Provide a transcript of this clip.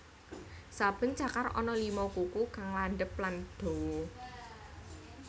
Saben cakar ana lima kuku kang landhep lan dawa